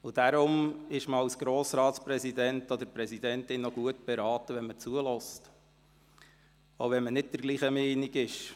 Deshalb ist man als Grossratspräsident oder als Grossratspräsidentin auch gut beraten, zuzuhören, auch wenn man nicht der gleichen Meinung ist.